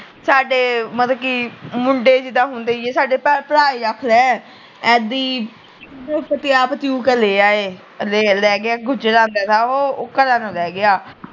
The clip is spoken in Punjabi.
ਸਾਡੇ ਮਤਲੱਬ ਕੀ ਮੁੰਡੇ ਜਿਦਾ ਹੁੰਦੇ ਆ ਸਾਡੇ ਭਰਾ ਈ ਆਖਲੇ